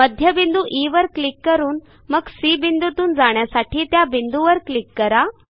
मध्यबिंदू ई वर क्लिक करून मग सी बिंदूतून जाण्यासाठी त्या बिंदूवर क्लिक करा